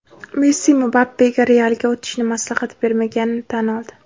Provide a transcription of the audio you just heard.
Messi Mbappega "Real"ga o‘tishni maslahat bermaganini tan oldi.